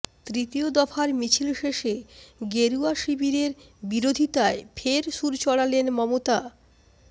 তৃতীয় দফার মিছিল শেষে গেরুয়া শিবিরের বিরোধিতায় ফের সুর চড়ালেন মমতা